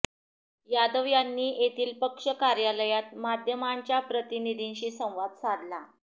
यादव यांनी येथील पक्ष कार्यालयात माध्यमांच्या प्रतिनिधींशी संवाद साधला